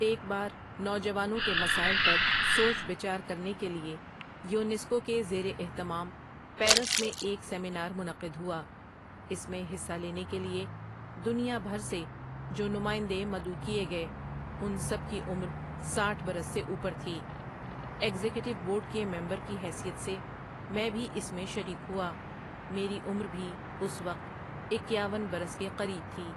ایک بار نوجوانوں کے مسائل پر سوچ بچار کرنے کے لیے یونیسکو کے زیر اہتمام پیرس میں ایک سیمینار منعقد ہوا اس میں حصہ لینے کے لیے دنیا بھر سے جو نمائندے مدعو کئے گئے ان سب کی عمر ساٹھ برس سے اوپر تھی ایگزیکٹو بورڈ کے ممبر کی حیثیت سے میں بھی اس میں شریک ہوا میری عمر بھی اس وقت اکیاون برس کے قریب تھی ۔